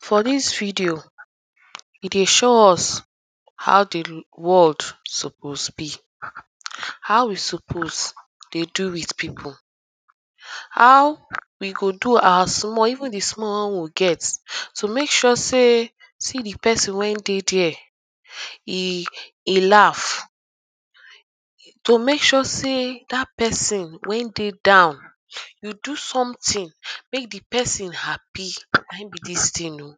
for this video, e dey show us how the world suppose be how esuppose dey do with people how wi go do our small even the small wen we get, to make sure sey see the person wen dey there e, e laugh to make sure say that person wen dey down you do something make the person happy na him be this thing oh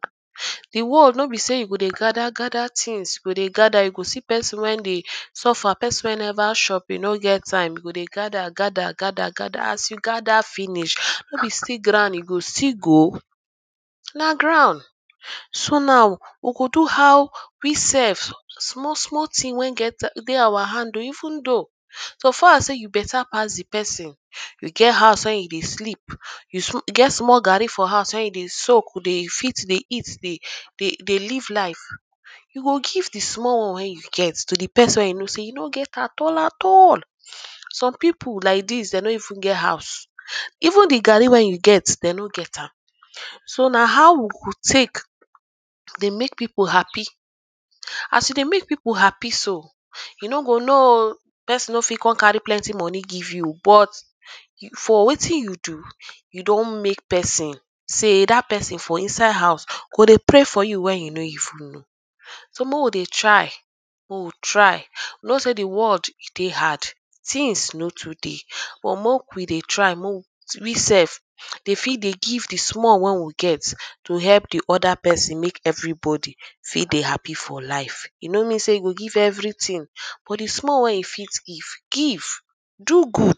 the world no be say you go dey gather gather things you go gather you go see person wen dey suffer person wey never chop e no get time e go dey gather gather gather gather as you gather finish no be ground you go still go? na ground. so now we go how we self small small thing wen we get dey our hand oh. even though so far as sey you beta pass the person you get house wey you dey sleep you get small garri for house wey you dey soak dey fit dey eat dey dey live life you go give the small one wen you get to the person wey you no sey e no get at all at all some people like this dem no even get hous. even thus garri wen you get, dem no get am so na how we go take dey make people happy as you dey make people happy so you no go know oh. person no fit come carry plenty moni give you but for wetin you do, you don make person say that person for inside house go dey pray for you when you no even know so make we dey try, make we try. we no say the world e dey hard things no too dey but make we dey try dey make we we sef dey fit dey give the small wen we get to help the other person make everybody for dey happy for life e no mean sey you go give everything, but the small wey you fit give, give. do good